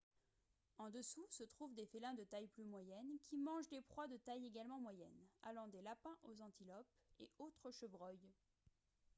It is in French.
en dessous se trouvent des félins de taille plus moyenne qui mangent des proies de taille également moyenne allant des lapins aux antilopes et autres chevreuils